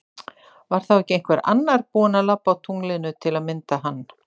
Var þá ekki einhver annar búin að labba á tunglinu til að mynda hann?